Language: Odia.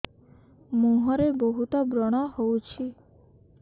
ମୁଁହରେ ବହୁତ ବ୍ରଣ ହଉଛି